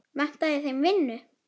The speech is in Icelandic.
Vantaði þeim vinnu?